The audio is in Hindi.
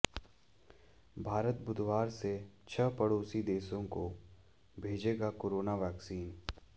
भारत बुधवार से छह पड़ोसी देशों को भेजेगा कोरोना वैक्सीन